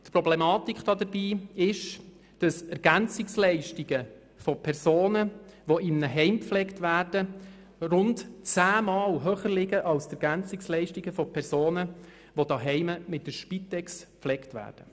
Problematisch dabei ist, dass Ergänzungsleistungen von Personen, die in einem Heim gepflegt werden, rund zehnmal höher liegen als jene von Personen, die zu Hause von der Spitex gepflegt werden.